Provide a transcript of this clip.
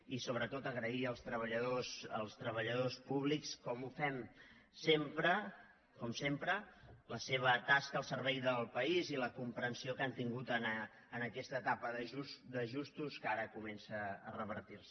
i sobretot agrair als treballadors públics com ho fem sempre com sempre la seva tasca al servei del país i la comprensió que han tingut en aquesta etapa d’ajustos que ara comença a revertir se